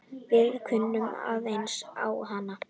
Við kunnum aðeins á hana.